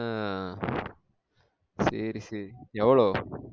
ஆஹ் சேரி சேரி எவ்ளோ?